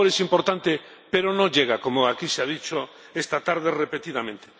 soft power es importante, pero no llega, como aquí se ha dicho esta tarde repetidamente.